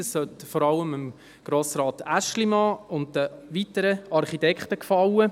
Das sollte vor allem Grossrat Aeschlimann und den weiteren Architekten gefallen.